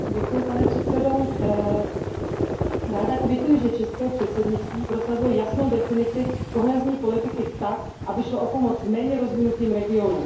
Pane předsedající, ráda kvituji, že české předsednictví prosazuje jasnou definici kohezní politiky tak, aby šlo o pomoc méně rozvinutým regionům.